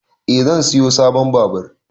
Eh zan siyo sabon babur